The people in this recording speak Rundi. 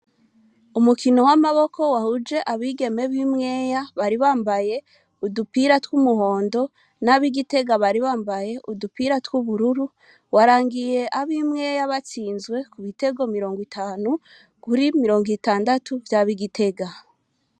Umukino wamaboko wahujije abimwera bari bambaye udupira twumuhondo nabigitega bari bambaye udupira twubururu warangiye abimwera batsinzwe kubitego mirongo itanu kiri mirongo itandatu vyabi igitega